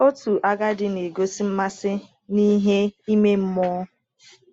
Otu agadi na-egosi mmasị n’ihe ime mmụọ.